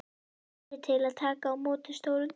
Tími til að taka á móti stórum degi.